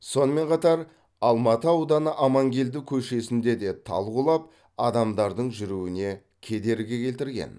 сонымен қатар алмалы ауданы амангелді көшесінде де тал құлап адамдардың жүруіне кедергі келтірген